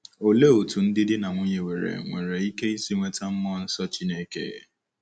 Olee otú ndị di na nwunye nwere nwere ike isi nweta mmụọ nsọ Chineke?